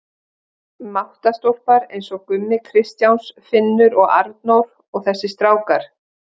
Máttarstólpar eins og Gummi Kristjáns, Finnur og Arnór og þessir strákar.